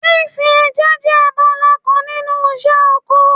Sínsin ẹja jẹ́ abala kan nínú iṣẹ́ oko